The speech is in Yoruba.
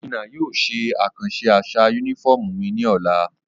Obinna yóò ṣe akanṣe aṣa unifọmú mi ni ọla.